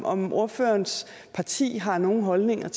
om ordførerens parti har nogen holdninger